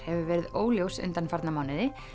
hefur verið óljós undanfarna mánuði